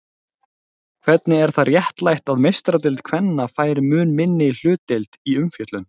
Hvernig er það réttlætt að meistaradeild kvenna fær mun minni hlutdeild í umfjöllun?